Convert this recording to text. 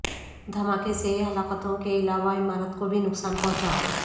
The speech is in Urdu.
دھماکے سے ہلاکتوں کے علاوہ عمارت کو بھی نقصان پہنچا